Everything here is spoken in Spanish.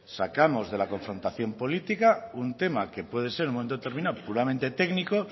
sacamos de la confrontación política un tema que puede ser en un momento determinado puramente técnico